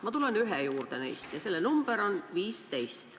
Ma tulen neist ühe juurde, selle number on 15.